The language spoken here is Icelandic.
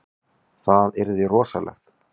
Það yrði rosalegt.